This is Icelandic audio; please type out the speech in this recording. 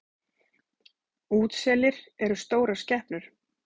Útselir eru stórar skepnur.